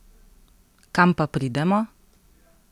Kam pa pridemo?